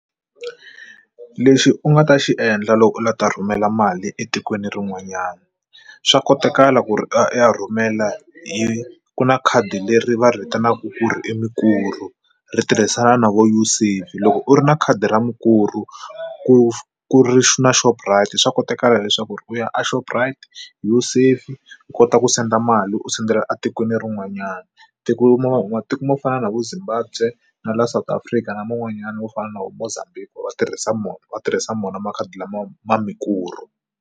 Lexi u nga ta xi endla loko u lava ta rhumela mali etikweni rin'wanyana swa kotakala ku ri ya rhumela yi ku na khadi leri va ri vitanaka ku i Mukuru ri tirhisana na vo Usave loko u ri na khadi ra Mukuru ku ku ri na Shoprite swa kotakala leswaku u ya eShoprite Usave u kota ku senda mali u sendela etikweni rin'wanyana tikuma va matiko mo fana na vu Zimbabwe na la South Afrika na man'wanyana wo fana na vo Mozambique va tirhisa mona va tirhisa mona makhadi lama ma Mukuru.